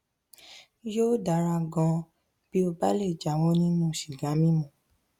yóò dára ganan bí ó bá lè jáwọ nínú sìgá mímu